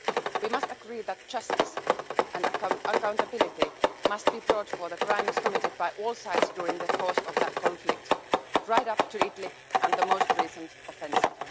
We must agree that justice and accountability must be brought for the crimes committed by all sides during the course of that conflict right up to Idlib and the most recent offensive.